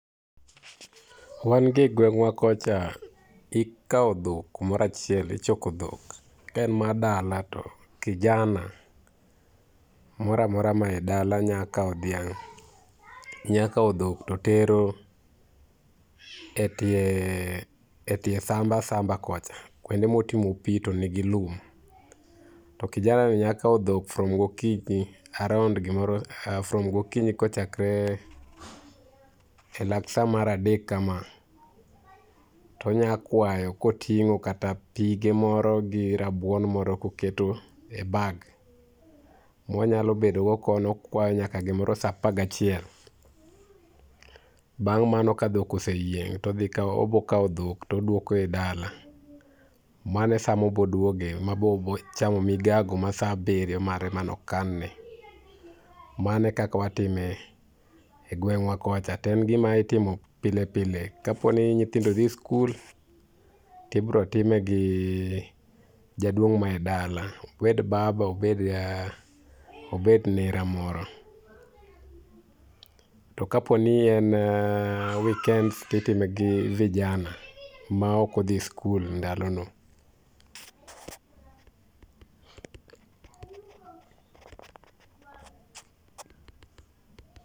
Wan gi e gwengwa kocha, ikao dhok kumoro achiel, ichoko dhok. Ka en mar dala, to kijana moro amora mae dala nya kao dhiang, nya kao dhok to tero e tie samba samba kocha kuonde motimo pii tonigi lum. To kijana ni nya kao dhok from gokinyi around[sc] gimoro, from gokinyi kochakre elak saa mar adek kama tonya kwayo kotingo kata pige moro gi rabuon moro koketo e bag monya bedo godo kono onya bedo nyaka saa apar gachiel. Bang mano ka dhok oseyieng todhi kao, obo kao dhok toduoke dala. Mano e saa mobo duoge mabe obo chame migago mare mane okan ne. Mano e kaka watime e gwengwa kocha toen gima itimo pile pile, kaponi nyithindo dhi skul tibo time gi jaduong mae dala, obed baba obed nera moro. To kaponi en weekends titime gi vijana maok odhi skul ndalono.